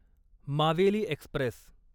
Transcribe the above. Maveli Express